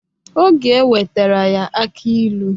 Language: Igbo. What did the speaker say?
Oge ewetara ya aki ilu.